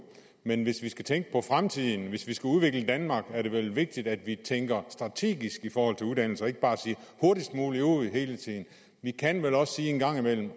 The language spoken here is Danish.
men hvis vi skal tænke på fremtiden hvis vi skal udvikle danmark er det vel vigtigt at vi tænker strategisk i forhold til uddannelse og ikke bare siger hurtigst muligt ud hele tiden vi kan vel også en gang imellem